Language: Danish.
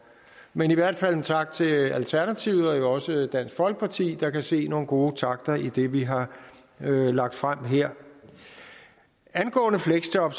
men i hvert fald tak til alternativet og også dansk folkeparti der kan se nogle gode takter i det vi har lagt frem her angående fleksjob